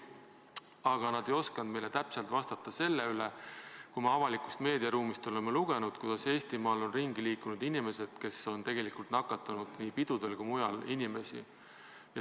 Aga nad ei osanud meile täpselt vastata selle kohta, mida me avalikus meediaruumis oleme lugenud, et Eestimaal on ringi liikunud inimesed, kes on nakatanud nii pidudel kui ka mujal inimesi.